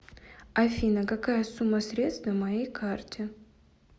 афина какая сумма средств на моей карте